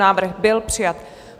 Návrh byl přijat.